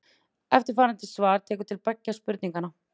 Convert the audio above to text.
Eftirfarandi svar tekur til beggja spurninganna.